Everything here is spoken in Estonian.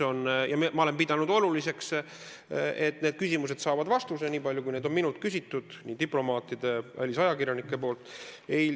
Ma olen pidanud oluliseks, et need küsimused saavad vastuse, niipalju kui neid on minult küsinud nii diplomaadid kui ka välisajakirjanikud.